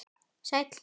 Sæll